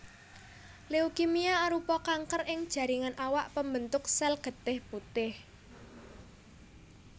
Leukemia arupa kanker ing jaringan awak pambentuk sel getih putih